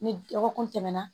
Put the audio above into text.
Ni dɔgɔkun tɛmɛna